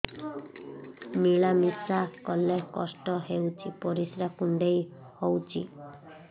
ମିଳା ମିଶା କଲେ କଷ୍ଟ ହେଉଚି ପରିସ୍ରା କୁଣ୍ଡେଇ ହଉଚି